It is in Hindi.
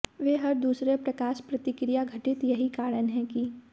वे हर दूसरे प्रकाश प्रतिक्रिया घटित यही कारण है कि